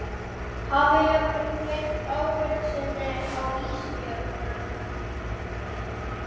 Hafi jafnvel gleymt ábyrgð sinni á Ísbjörgu.